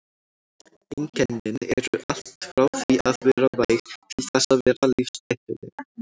Einkennin eru allt frá því að vera væg til þess að vera lífshættuleg.